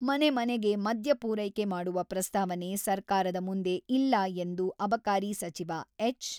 ಮನೆ ಮನೆಗೆ ಮದ್ಯ ಪೂರೈಕೆ ಮಾಡುವ ಪ್ರಸ್ತಾವನೆ ಸರ್ಕಾರದ ಮುಂದೆ ಇಲ್ಲ ಎಂದು ಅಬಕಾರಿ ಸಚಿವ ಎಚ್.